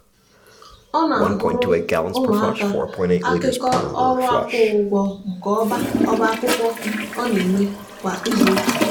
ọ na-agụrụ ụmụaka akụkọ ọrụ akwụghị ụgwọ nke ọba ọba akwụkwọ a na-eme kwa izuụka.